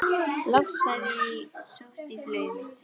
Loks var ég sótt í flugið mitt.